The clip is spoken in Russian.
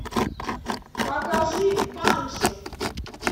покажи банши